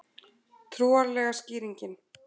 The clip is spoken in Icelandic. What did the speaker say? Trúarlega skýringin